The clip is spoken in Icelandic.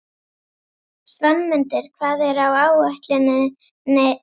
Svanmundur, hvað er á áætluninni minni í dag?